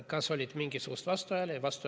Kas oli mingisuguseid vastuhääli?